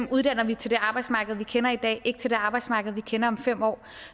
uddanner vi til det arbejdsmarked vi kender i dag ikke til det arbejdsmarked vi kender om fem år